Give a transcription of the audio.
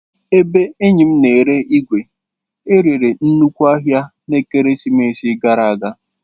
Ebe enyi m na-ere igwe e rere nnukwu ahia n'ekeresimesi gara aga.